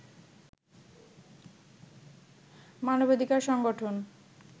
মানবাধিকার সংগঠন